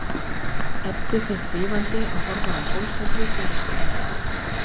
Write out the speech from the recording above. Eddu finnst hrífandi að horfa á sólsetrið í Vesturbænum.